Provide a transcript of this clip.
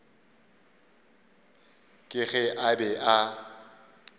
ka ge a be a